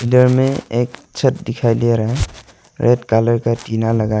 में एक छत दिखाई दे रहा है रेड कलर का टीना लगा--